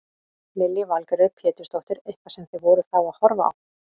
Lillý Valgerður Pétursdóttir: Eitthvað sem þið voruð þá að horfa á?